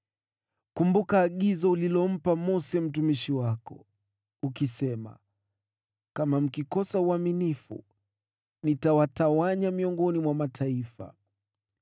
“Kumbuka agizo ulilompa Mose mtumishi wako, ukisema, ‘Kama mkikosa uaminifu, nitawatawanya miongoni mwa mataifa,